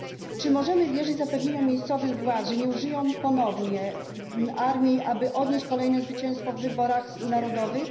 Czy możemy wierzyć zapewnieniom miejscowych władz, że nie użyją ponownie armii, aby odnieść kolejne zwycięstwo w wyborach narodowych?